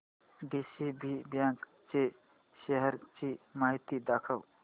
DCB bank च्या shares ची माहिती दाखव